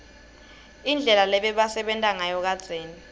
indlela lebebasebenta ngayo kadzeni